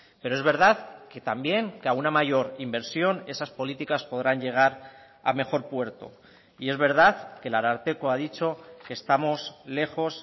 pero es verdad que también que alguna mayor inversión esas políticas podrán llegar a mejor puerto y es verdad que el ararteko ha dicho que estamos lejos